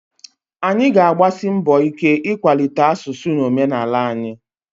Anyị ga-agbasi mbọ ike ịkwalite asụsụ na omenala anyị